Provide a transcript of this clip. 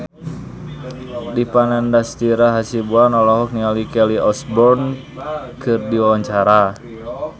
Dipa Nandastyra Hasibuan olohok ningali Kelly Osbourne keur diwawancara